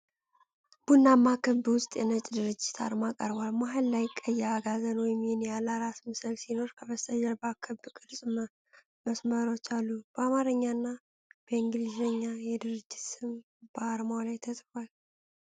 ቡናማ ክብ ውስጥ የነጭ ድርጅት አርማ ቀርቧል። መሃል ላይ ቀይ የአጋዘን ወይም የኒያላ ራስ ምስል ሲኖር፣ ከበስተጀርባው የክብ ቅርጽ መስመሮች አሉ። በአማርኛ እና በእንግሊዝኛ የድርጅቱ ስም በአርማው ላይ ተጽፏል።